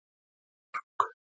Heiðmörk